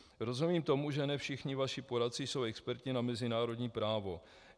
Rozumím tomu, že ne všichni vaši poradci jsou experti na mezinárodní právo.